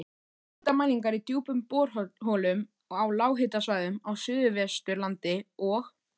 Hitamælingar í djúpum borholum á lághitasvæðum á Suðvesturlandi og